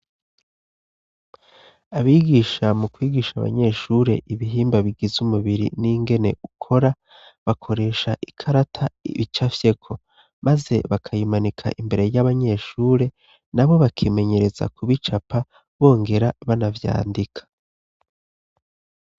Abigisha mu kwigisha abanyeshure ibihimba bigize umubiri n'ingene ukora bakoresha ikarata bicafyeko maze bakayimanika imbere y'abanyeshure na bo bakimenyereza kubicapa bongera banavyandika.